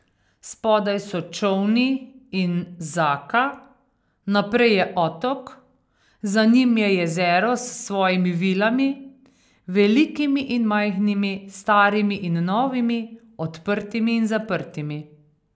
Spodaj so čolni in Zaka, naprej je Otok, za njim je jezero s svojimi vilami, velikimi in majhnimi, starimi in novimi, odprtimi in zaprtimi.